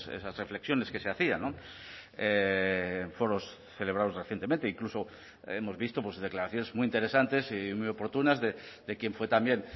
esas reflexiones que se hacían foros celebrados recientemente incluso hemos visto declaraciones muy interesantes y muy oportunas de quien fue también